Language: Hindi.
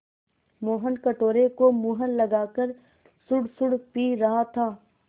मोहन कटोरे को मुँह लगाकर सुड़सुड़ पी रहा था